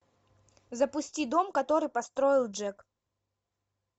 запусти дом который построил джек